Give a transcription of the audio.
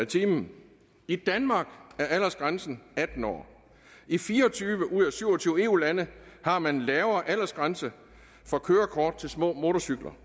time i danmark er aldersgrænsen atten år i fire og tyve ud af syv og tyve eu lande har man en lavere aldersgrænse for kørekort til små motorcykler